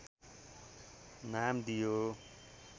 नाम दियो